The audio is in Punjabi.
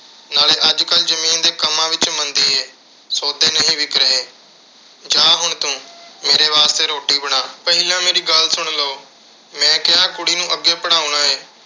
ਨਾਲੇ ਅੱਜ ਕੱਲ੍ਹ ਜ਼ਮੀਨ ਦੇ ਕੰਮਾਂ ਵਿੱਚ ਮੰਦੀ ਏ। ਸੌਦੇ ਨਹੀਂ ਵਿਕ ਰਹੇ। ਜਾਹ ਹੁਣ ਤੂੰ ਤੇ ਮੇਰੇ ਵਾਸਤੇ ਰੋਟੀ ਬਣਾ। ਪਹਿਲਾਂ ਮੇਰੀ ਗੱਲ ਸੁਣ ਲਓ। ਮੈਂ ਕਿਹਾ ਕੁੜੀ ਨੂੰ ਅੱਗੇ ਪੜ੍ਹਾਉਣਾ ਏ।